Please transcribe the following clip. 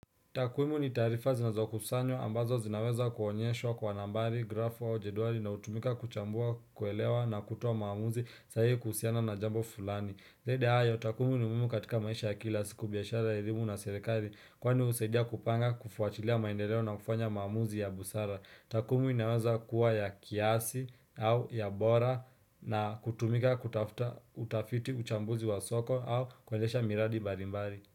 Takumu ni taarifa zinazokusanywa ambazo zinaweza kuonyeshwa kwa nambari, grafu au jedwali na hutumika kuchambua kuelewa na kutoa maamuzi sahihi kuhusiana na jambo fulani. Zaidi ya hayo, takumu ni muhimu katika maisha ya kila siku biashara elimu na serikali kwani husaidia kupanga kufuatilia maendeleo na kufanya maamuzi ya busara. Takumu inaweza kuwa ya kiasi au ya bora na kutumika kutafuta utafiti uchambuzi wa soko au kuendesha miradi mbalimbali.